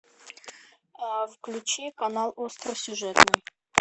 включи канал остросюжетный